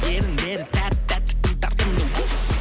еріндері тәп тәтті тым тартымды уф